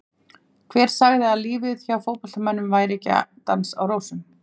Hver sagði að lífið hjá fótboltamönnum væri ekki dans á rósum?